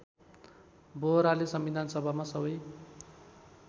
बोहराले संविधानसभामा सबै